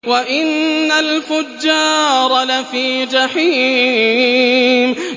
وَإِنَّ الْفُجَّارَ لَفِي جَحِيمٍ